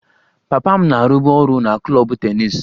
Papa m na-arụbu ọrụ na klọb tennis